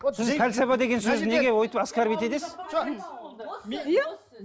сіз пәлсапа деген сөзді неге өйтіп оскорбить етесіз